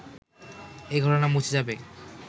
এই ঘটনা মুছে যাবে